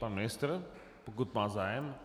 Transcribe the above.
Pan ministr, pokud má zájem.